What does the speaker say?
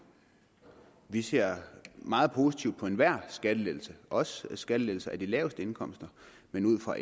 vi ser meget positivt på enhver skattelettelse også på skattelettelser af de laveste indkomster men ud fra